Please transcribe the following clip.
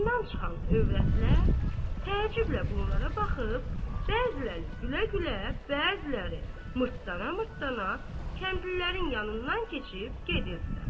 Hamamdan çıxan övrətlər təəccüblə bunlara baxıb, bəziləri gülə-gülə, bəziləri mırtlana-mırtlana kəndlilərin yanından keçib gedirdilər.